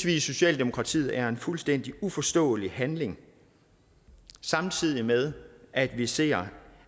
i socialdemokratiet er en fuldstændig uforståelig handling samtidig med at vi ser